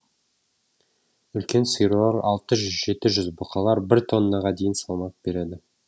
үлкен сиырлар алты жүз жеті жүз бұқалар бір тоннаға дейін салмақ береді